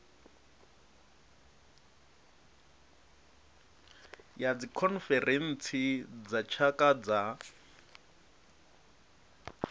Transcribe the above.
ya dzikhonferentsi dza tshaka dza